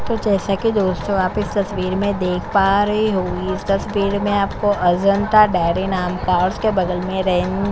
जैसा की दोस्तों आप इस तस्बीर में देख पा रहे हो इस तस्बीर में आपको अजंता डेरी नाम का और उसके बगल में रेन--